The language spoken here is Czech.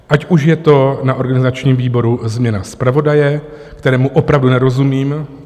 Ať už je to na organizačním výboru změna zpravodaje, kterému opravdu nerozumím.